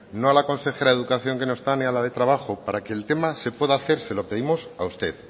no a la consejera de educación que no está ni a la de trabajo para que el tema se pueda hacer se lo pedimos a usted